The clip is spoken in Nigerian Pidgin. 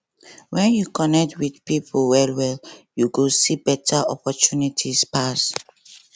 when you connect with people wellwell you go see better opportunities pass